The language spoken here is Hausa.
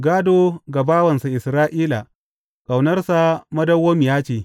Gādo ga bawansa Isra’ila; Ƙaunarsa madawwamiya ce.